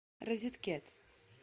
розеткед